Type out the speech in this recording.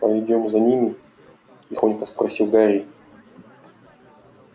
пойдём за ними тихонько спросил гарри